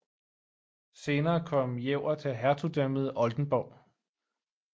Senere kom Jever til Hertugdømmet Oldenborg